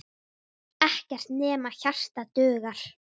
Ekkert nema hjarta dugar.